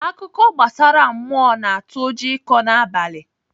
Akụkọ gbasara mmụọ na-atụ ụjọ ịkọ n'abalị.